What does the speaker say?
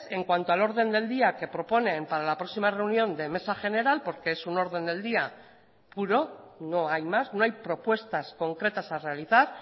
en cuanto al orden del día que proponen para la próxima reunión de mesa general porque es un orden del día puro no hay más no hay propuestas concretas a realizar